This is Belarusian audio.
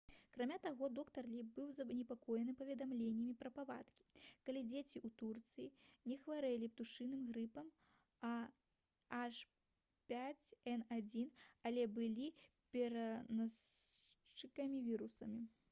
акрамя таго доктар лі быў занепакоены паведамленнямі пра выпадкі калі дзеці ў турцыі не хварэлі птушыным грыпам ah5n1 але былі пераносчыкамі вірусу